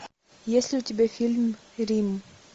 есть ли у тебя фильм рим